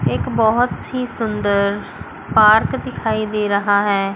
एक बहुत ही सुंदर पार्क दिखाई दे रहा है।